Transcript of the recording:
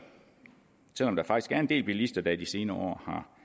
selv om der faktisk er en del bilister der i de senere